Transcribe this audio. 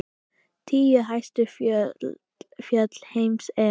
Tíu hæstu fjöll heims eru